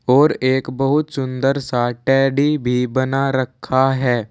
और एक बहुत सुंदर सा टेडी भी बना रखा है।